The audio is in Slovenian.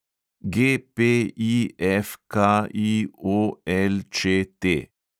GPIFKIOLČT